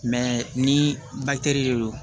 ni de don